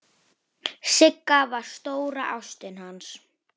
Sigga var stóra ástin hans.